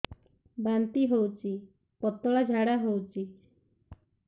ବାନ୍ତି ହଉଚି ପତଳା ଝାଡା ହଉଚି